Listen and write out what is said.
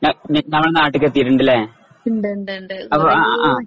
ന നമ്മുടെ നാട്ടിക്ക് എത്തിയിട്ടുണ്ടല്ലേ അപ്പൊ അഹ്